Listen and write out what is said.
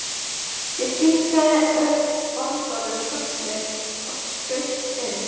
Ég kinkaði orðalaust kolli og skaust inn.